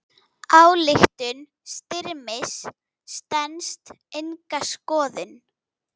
Ályktun Styrmis stenst enga skoðun.